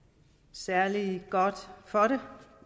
særlig godt for